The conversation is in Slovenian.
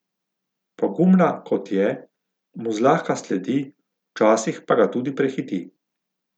Pogumna, kot je, mu zlahka sledi, včasih pa ga tudi prehiti.